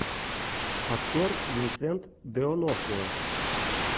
актер винсент де онофрио